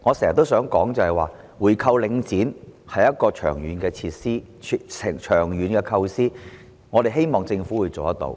所以，我經常說，回購領展是長遠的構思，我們希望政府能夠做到。